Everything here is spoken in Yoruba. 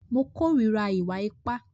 Mo kòrira ìwà ipá.